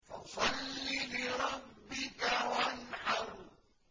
فَصَلِّ لِرَبِّكَ وَانْحَرْ